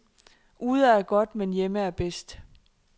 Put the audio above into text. Ude er godt, men hjemme er bedst.